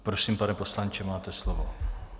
Prosím, pane poslanče, máte slovo.